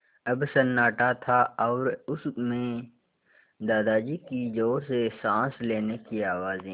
अब सन्नाटा था और उस में दादाजी की ज़ोर से साँस लेने की आवाज़ें